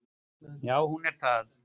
Já hún er það.